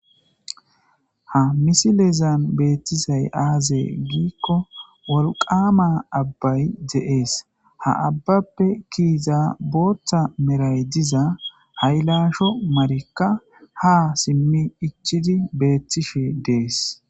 Ha misilezan beeththizay aazee giikko wolqqaama abbay de7ees; ha abbappe kiyiza booththa meray diza haylaasho marikka haa simmi ichchidi beeththishee de7ees.